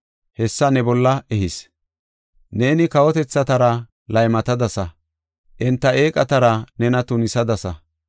hessa ne bolla ehis. Neeni kawotethatara laymatadasa; enta eeqatara nena tunisadasa.